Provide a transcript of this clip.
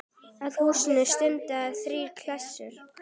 Að húsinu standa þrír klasar.